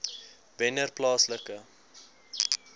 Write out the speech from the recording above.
wennerplaaslike